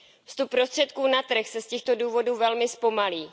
Vstup prostředků na trh se z těchto důvodů velmi zpomalí.